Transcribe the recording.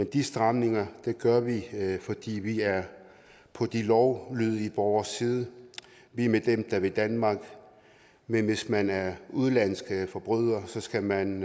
de stramninger fordi vi er på de lovlydige borgeres side vi er med dem der vil danmark men hvis man er udenlandsk forbryder skal man